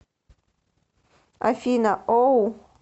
афина оу